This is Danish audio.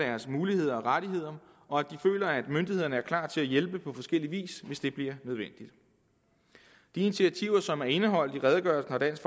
deres muligheder og rettigheder og at de føler at myndighederne er klar til at hjælpe på forskellig vis hvis det bliver nødvendigt de initiativer som er indeholdt i redegørelsen har dansk